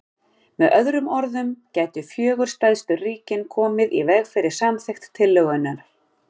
Með öðrum orðum gætu fjögur stærstu ríkin komið í veg fyrir samþykkt tillögunnar.